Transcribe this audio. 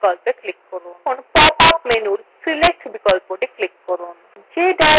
এখন pop up menu select বিকল্পটি click করুন